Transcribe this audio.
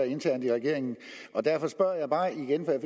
internt i regeringen derfor spørger jeg bare igen for jeg